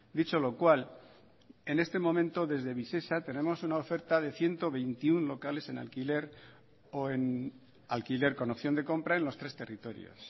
dicho lo cual en este momento desde visesa tenemos una oferta de ciento veintiuno locales en alquiler o en alquiler con opción de compra en los tres territorios